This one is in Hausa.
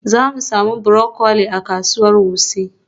Za mu sami broccoli a kasuwar Wuse.